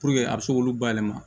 a bɛ se k'olu bayɛlɛma